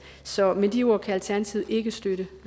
så med de ord kan alternativet ikke støtte